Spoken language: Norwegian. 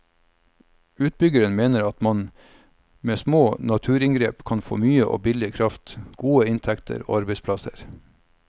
Utbyggeren mener at man med små naturinngrep kan få mye og billig kraft, gode inntekter og arbeidsplasser.